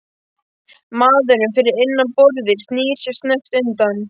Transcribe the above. Maðurinn fyrir innan borðið snýr sér snöggt undan.